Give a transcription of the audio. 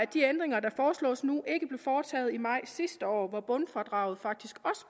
de ændringer der foreslås nu ikke blev foretaget i maj sidste år hvor bundfradraget faktisk